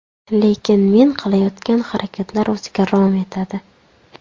Lekin men qilayotgan harakatlar o‘ziga rom etadi.